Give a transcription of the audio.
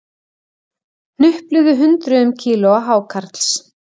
Hnupluðu hundruðum kílóa hákarls